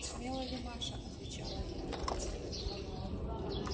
смела ли маша отвечала её мать